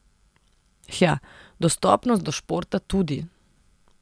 Hja, dostopnost do športa tudi.